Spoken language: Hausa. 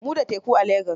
Mu da teku a Lagos.